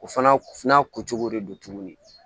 O fana ko cogo de don tuguni